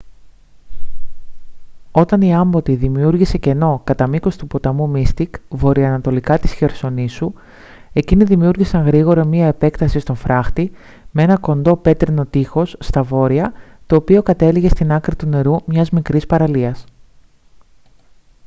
όταν η άμπωτη δημιούργησε κενό κατά μήκος του ποταμού μίστικ βορειοανατολικά της χερσονήσου εκείνοι δημιούργησαν γρήγορα μια επέκταση στον φράχτη με ένα κοντό πέτρινο τείχος στα βόρεια το οποίο κατέληγε στην άκρη του νερού μιας μικρής παραλίας